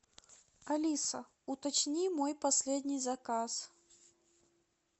алиса уточни мой последний заказ